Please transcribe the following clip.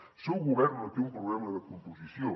el seu govern no té un problema de composició